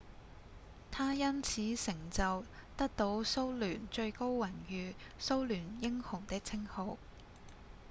他因此成就得到蘇聯最高榮譽「蘇聯英雄」的稱號